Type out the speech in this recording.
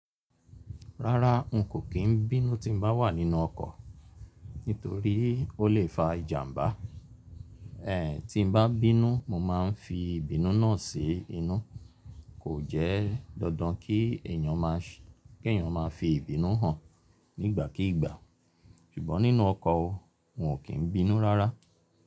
Rárá n kò kí n bínú tí n bá wà nínú ọkọ̀, nítorí ó lè fa ìjàmbá. Ẹ̀ tí n bá bínú, mo ma n fi ìbínú náà sí inú. Kò jẹ́ dandan kí èyàn má ṣe kí èyàn má fi ìbínú hàn nígbàkígbà. Ṣùgbọ́n nínú ọkọ̀ o, n kò kí n bínú rárá.